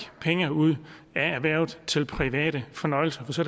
penge ud af erhvervet til private fornøjelser for så